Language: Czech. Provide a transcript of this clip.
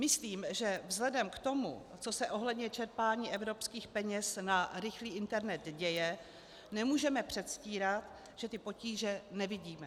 Myslím, že vzhledem k tomu, co se ohledně čerpání evropských peněz na rychlý internet děje, nemůžeme předstírat, že ty potíže nevidíme.